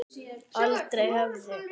Aldrei höfðu